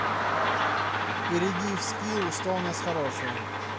перейди в скилл что у нас хорошего